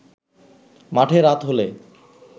মাঠে রাত হলে